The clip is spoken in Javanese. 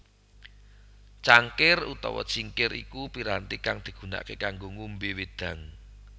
Cangkir utawa cingkir iku piranti kang digunakaké kanggo ngombé wédang